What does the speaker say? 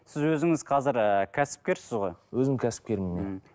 сіз өзіңіз қазір ыыы кәсіпкерсіз ғой өзім кәсіпкермін иә мхм